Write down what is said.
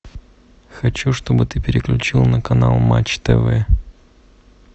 хочу чтобы ты переключил на канал матч тв